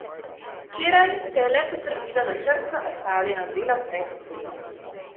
Včeraj se je le potrdilo načrtno opravljeno delo pred tem.